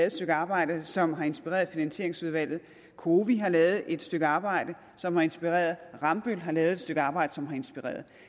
et stykke arbejde som har inspireret finansieringsudvalget cowi har lavet et stykke arbejde som har inspireret rambøll har lavet et stykke arbejde som har inspireret